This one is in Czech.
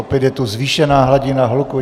Opět je tu zvýšená hladina hluku!